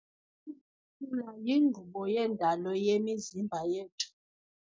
ukhula yinkqubo yendalo yemizimba yethu.